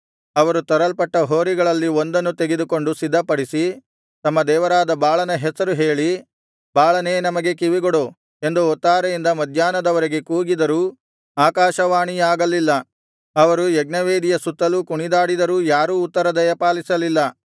ಅವರು ತರಲ್ಪಟ್ಟ ಹೋರಿಗಳಲ್ಲಿ ಒಂದನ್ನು ತೆಗೆದುಕೊಂಡು ಸಿದ್ಧಪಡಿಸಿ ತಮ್ಮ ದೇವರಾದ ಬಾಳನ ಹೆಸರು ಹೇಳಿ ಬಾಳನೇ ನಮಗೆ ಕಿವಿಗೊಡು ಎಂದು ಹೊತ್ತಾರೆಯಿಂದ ಮಧ್ಯಾಹ್ನದವರೆಗೆ ಕೂಗಿದರೂ ಆಕಾಶವಾಣಿಯಾಗಲಿಲ್ಲ ಅವರು ಯಜ್ಞವೇದಿಯ ಸುತ್ತಲೂ ಕುಣಿದಾಡಿದರೂ ಯಾರೂ ಉತ್ತರ ದಯಪಾಲಿಸಲಿಲ್ಲ